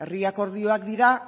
herri akordioak dira